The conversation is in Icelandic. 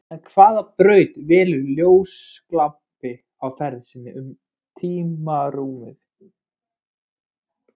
En hvaða braut velur ljósglampi á ferð sinni um tímarúmið?